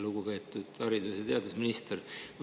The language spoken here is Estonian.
Lugupeetud haridus‑ ja teadusminister!